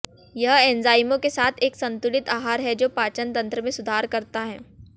यह एंजाइमों के साथ एक संतुलित आहार है जो पाचन तंत्र में सुधार करता है